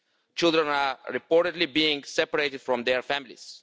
Children are reportedly being separated from their families.